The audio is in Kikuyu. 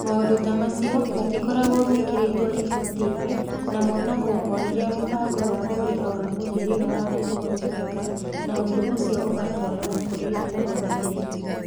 Maũndũ ta macio matikoragwo mekĩrĩtwo riboti-inĩ na monagwo o rĩrĩa mũbango wa kũrĩha wa mũhĩrĩga waga kũhotekeka, na ũndũ ũcio ũgatwarwo kũrĩ Mũrũgamĩrĩri.